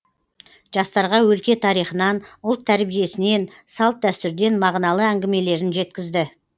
жастарға өлке тарихынан ұлт тәрбиесінен салт дәстүрден мағыналы әңгімелерін жеткізді